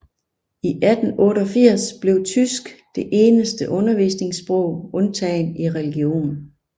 I 1888 blev tysk det eneste undervisningssprog undtagen i religion